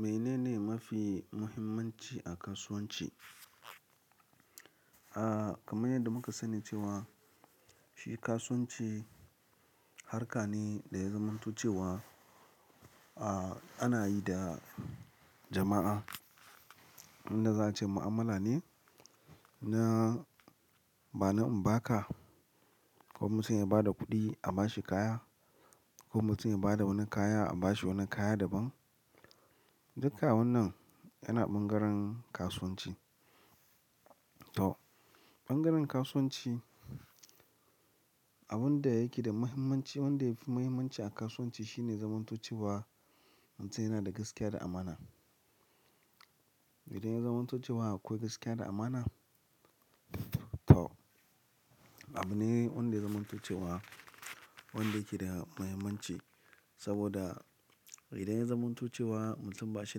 Menene mafi muhimmanci a kasuwanci? A, kamar yadda muka sani cewa shi kasuwanci harka ne da ya zamanto cewa, a, ana yi da jama'a. Inda za a ce mu'amala ne na bani in ba ka, ko mutum ya bada kuɗi a bashi kaya, ko mutum ya bada wani kaya a bashi wani kaya daban. Duka wannan yana ɓangaren kasuwanci. To, ɓangaren kasuwanci abin da yake da muhimmanci, wanda yafi muhimmanci a kasuwanci shine zamantocewa mutum yana da gaskiya da amana. Idan ya zamanto cewa akwai gaskiya da amana? To, abune wanda ya zamanto cewa wanda yake da muhimmanci. Saboda idan ya zamanto cewa mutum ba shi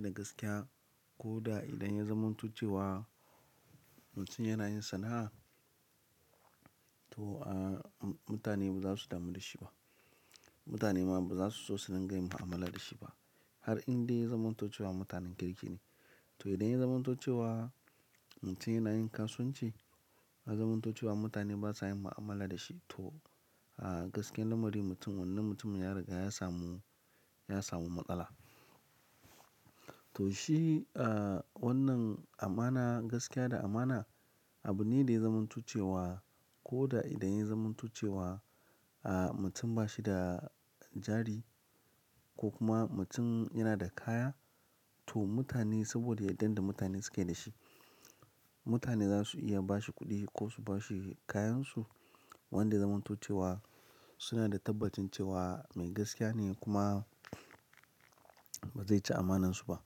da gaskiya ko da idan ya zamanto cewa mutum yana yin sana'a, to, a, mutane ba za su damu da shi ba. Mutane ma ba za su so su dinga yin mu'amala da shi ba. Har inda ya zamanto cewa mutanen kirki ne. To, idan ya zamanto cewa mutum yana yin kasuwanci, ya zamanto cewa mutane basa yin mu'amala da shi, to, a, gaskiyar lamari mutum wannan mutumin ya riga ya samu ya samu matsala. To, shi, a, wannan amana, gaskiya da amana abu ne da ya zamanto cewa ko da idan ya zamanto cewa, a, mutum ba shi da jari ko kuma mutum yana da kaya. To mutane sabo da yardan da mutane sukai da shi, mutane zasu iya bashi kudi ko su bashi kayan su wanda ya zamanto cewa suna da tabbacin cewa me gaskiya ne kuma ba zai ci amanan su ba.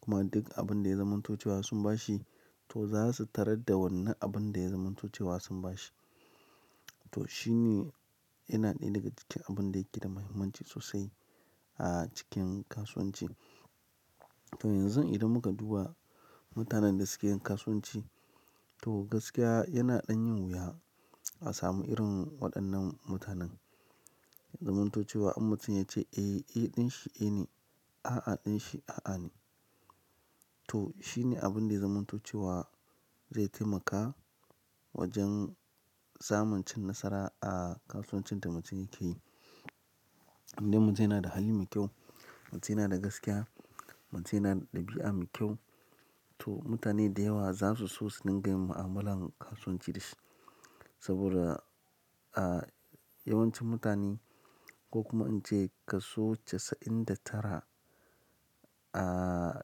Kuma duk abin da ya zamanto cewa sun bashi to zasu tarar da wannan abin da ya zamanto cewa sun bashi. To, shine yana ɗaya daga cikin abun da yake da muhimmanci sosai a cikin kasuwanci. To, yanzu idan muka duba mutanen da suke yin kasuwanci, to gaskiya yana ɗan yin wuya a samu irin waɗannan mutanen. Zamanto cewa in mutum ya ce "Eh, eh ɗin shi eh ne. A'a ɗin shi a'a ne." To, shine abinda ya zamanto cewa zai taimaka wajen samin cin nasara a kasuwanci da yake yi, idan mutum yana da hali mai kyau, mutum yana da gaskiya, mutum yana da dabi'a mai kyau to, mutane da yawa zasu so su dinga yin mu'amalan kasuwanci dashi. Saboda, a, yawancin mutane ko kuma an ce kaso casa'in da tara, a,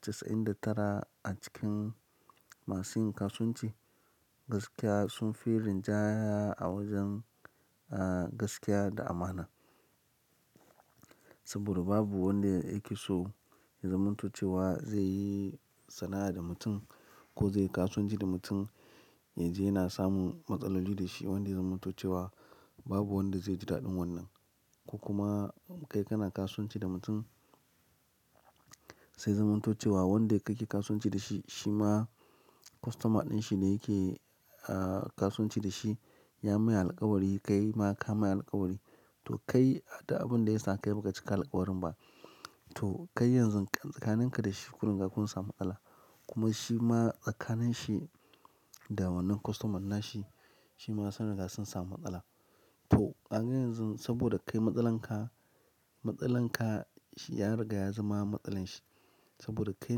casa'in da tara a cikin masu yin kasuwanci gaskiya sunfi rinjaya a wajen, a, gaskiya da amana. Saboda babu wanda yake so ya zamanto cewa zai yi sana'a da mutum, ko zai yi kasuwanci da mutum, yaje yana samun matsaloli dashi wanda ya zamanto cewa babu wanda zai ji daɗin wannan. Ko kuma kai kana kasuwanci da mutum, sai ya zamanto cewa wanda kake kasuwanci da shi, shima customer ɗin shi ne yake, a, kasuwanci dashi ya mai alkawari, kaima ka mai alkawari. To, kai da abinda ya saka kai baka cika alkawarin ba. To, kai yanzun kam, tsakanin ka da shi kun riga kun samu matsala. Kuma shima tsakanin shi da wannan customer na shi, shima sun riga sun samu matsala. To, kaga yanzun saboda kai matsalar ka, matsalar ka shi ya riga ya zama matsalar shi. Saboda kai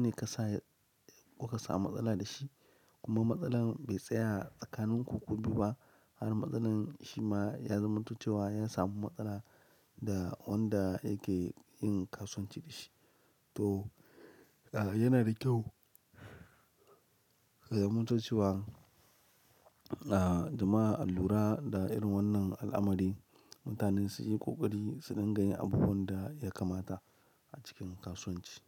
ne kasa ko ka samu matsala da shi kuma matsalar bai tsaya tsakaninku ku biyu ba. Har matsalar shima ya zamanto cewa ya samu matsala, da wanda yake yin kasuwanci dashi. To, a, yana da kyau ya zamanto cewa, a, jama'a alura da irin wannan al'amari, mutanen su yi ƙoƙari su dinga yin abubuwan da yakamata a cikin kasuwanci.